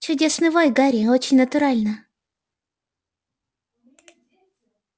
чудесный вой гарри очень натурально